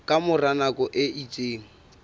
ka mora nako e itseng